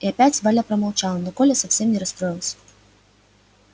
и опять валя промолчала но коля совсем не расстроился